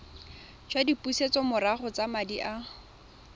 jwa dipusetsomorago tsa madi a